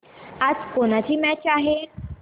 आज कोणाची मॅच आहे